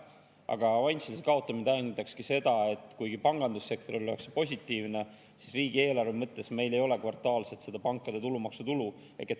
Aga avansilise kaotamine tähendakski seda, et kuigi pangandussektorile oleks see positiivne, siis riigieelarve mõttes meil ei ole kvartaalselt seda pankade tulumaksu tulu.